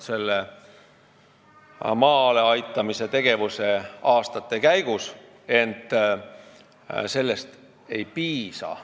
Selle oleme maale aitamise tegevuse aastate käigus ära kontrollinud, ent sellest ei piisa.